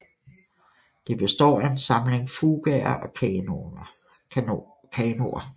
Det består af en samling fugaer og kanoner